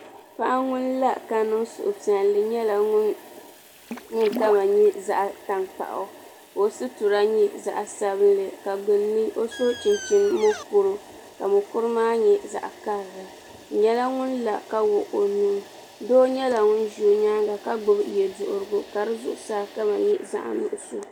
Paɣa ŋun la ka niŋ suhupiɛlli nyɛla ŋun kama nyɛ zaɣ tankpaɣu ka o sitira nyɛ zaɣ sabinli ka gbunni o so chinchin mokuru ka mokuru maa nyɛ zaɣ karili o nyɛla ŋun la ka wuɣi o nuu Doo nyɛla ŋun ʒɛ o nyaanga ka gbubi yɛ duɣurigu ka di zuɣusaa kama nyɛ zaɣ nuɣso